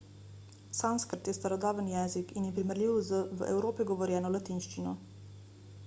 sanskrt je starodaven jezik in je primerljiv z v evropi govorjeno latinščino